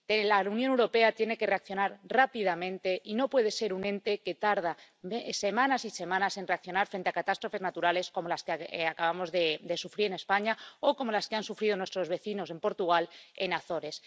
La Unión Europea tiene que reaccionar rápidamente y no puede ser un ente que tarda semanas y semanas en reaccionar frente a catástrofes naturales como las que acabamos de sufrir en España o como las que han sufrido nuestros vecinos en Portugal —en las Azores—.